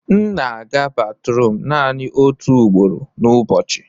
m na-aga batrum naanị otu ugboro n'ụbọchị